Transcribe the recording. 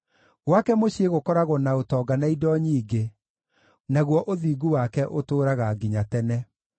Gwake mũciĩ gũkoragwo na ũtonga na indo nyingĩ, naguo ũthingu wake ũtũũraga nginya tene.